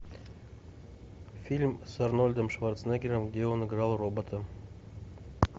фильм с арнольдом шварценеггером где он играл робота